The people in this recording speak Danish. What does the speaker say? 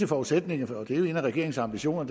forudsætning for og det er jo en af regeringens ambitioner at